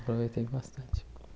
Aproveitei bastante.